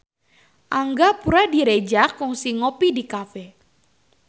Angga Puradiredja kungsi ngopi di cafe